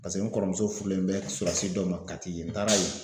Paseke n kɔrɔmuso furulen bɛ sɔrɔdasi dɔ ma Kati yen n taara yen.